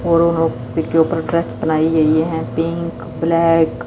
और वह पीके ऊपर ट्रस्ट बनाई गई हैं पिंक ब्लैक --